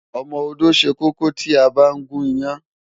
Ọmọ-odó ṣẹ kókó tí a bá ń gún iyán.